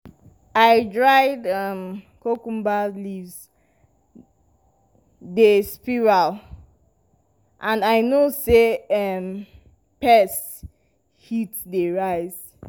i see dried um cucumber leaves dey spiral and i and i know say um pest heat dey rise.